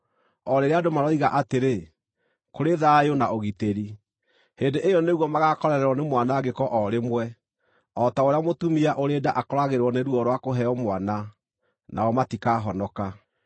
O rĩrĩa andũ maroiga atĩrĩ, “Kũrĩ thayũ na ũgitĩri,” hĩndĩ ĩyo nĩguo magaakorererwo nĩ mwanangĩko o rĩmwe, o ta ũrĩa mũtumia ũrĩ nda akoragĩrĩrwo nĩ ruo rwa kũheo mwana, nao matikahonoka.